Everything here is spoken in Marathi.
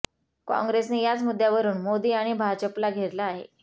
काँग्रेसने याच मुद्द्यावरून मोदी आणि भाजपला घेरलं आहे